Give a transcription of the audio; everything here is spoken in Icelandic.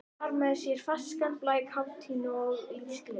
Bar með sér ferskan blæ, kátínu, lífsgleði.